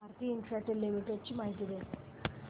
Bharti Infratel limited ची माहिती दे